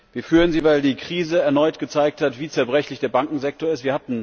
Wir führen sie, weil die Krise erneut gezeigt hat, wie zerbrechlich der Bankensektor ist.